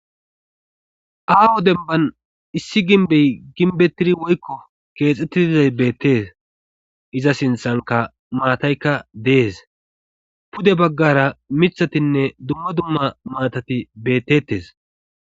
Aaho denban issi ginbey ginbetidi woykko keexxettiizay beettes iza sinthanka maataykka dees pude baggara mithatinne dumma dumma maatati bettettes